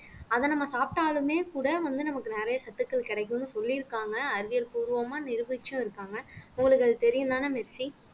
அத நம்ம சாப்பிட்டாலுமே கூட வந்து நமக்கு நிறைய சத்துக்கள் கிடைக்கும்னு சொல்லியிருக்காங்க அறிவியல் பூர்வமா நிரூபிச்சும் இருக்காங்க உங்களுக்கு அது தெரியும்தானே மெர்சி